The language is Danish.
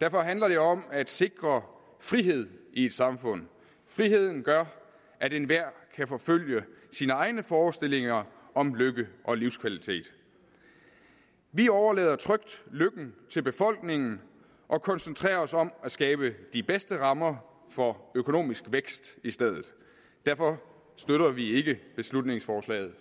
derfor handler det om at sikre frihed i et samfund friheden gør at enhver kan forfølge sine egne forestillinger om lykke og livskvalitet vi overlader trygt lykken til befolkningen og koncentrerer os om at skabe de bedste rammer for økonomisk vækst i stedet derfor støtter vi ikke beslutningsforslaget